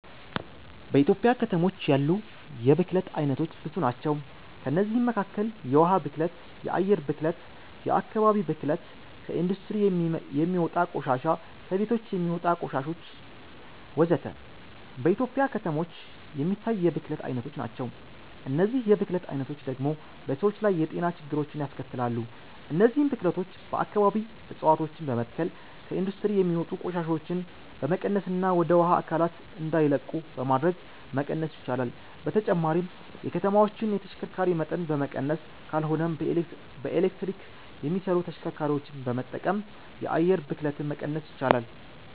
በኢትዮጵያ ከተሞች ያሉ የብክለት አይነቶች ብዙ ናቸው። ከእነዚህም መካከል የውሃ ብክለት፣ የአየር ብክለት፣ የአከባቢ ብክለት፣ ከኢንዱስትሪ የሚወጣ ቆሻሻ፣ ከቤቶች የሚወጣ ቆሻሾች ወዘተ። በኢትዮጵያ ከተሞች የሚታይ የብክለት አይነቶች ናቸው። እነዚህ የብክለት አይነቶች ደግሞ በሰዎች ላይ የጤና ችግሮችን ያስከትላሉ። እነዚህን ብክለቶች በአከባቢ እፀዋቶችን በመትከል፣ ከኢንዱስትሪ የሚወጡ ቆሻሻዎችን በመቀነስና ወደ ውሃ አካላት እንዳይለቁ በማድረግ መቀነስ ይቻላል። በተጨማሪም የከተማዎችን የተሽከርካሪ መጠን በመቀነስ ካልሆነም በኤሌክትሪክ የሚሰሩ ተሽከርካሪዎችን በመጠቀም የአየር ብክለትን መቀነስ ይቻላል።